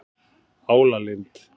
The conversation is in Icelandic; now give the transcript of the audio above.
Álalind